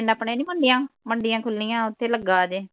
ਪਿੰਡ ਆਪਣੇ ਨਹੀ ਹੁੰਦੀਆਂ , ਮੰਡੀਆਂ ਖੁੱਲੀਆਂ ਉੱਥੇ ਲੱਗਾ ਜੇ ।